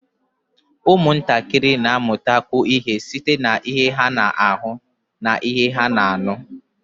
Ụmụntakịrị na-amụtakwu ihe site n'ihe ha na-ahụ na ihe ha na-anụ